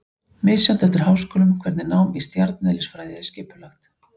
Misjafnt er eftir háskólum hvernig nám í stjarneðlisfræði er skipulagt.